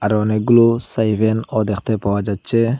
আরো অনেকগুলো সাইভেনও দ্যাখতে পাওয়া যাচ্চে।